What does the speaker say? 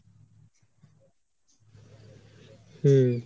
হম